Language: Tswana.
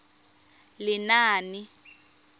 lenaane